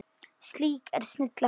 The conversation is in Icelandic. Slík er snilli hans.